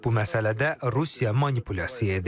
Bu məsələdə Rusiya manipulyasiya edir.